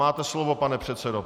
Máte slovo, pane předsedo.